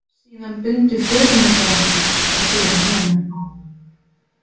Síðan bundu förunautar okkar að fyrir neðan.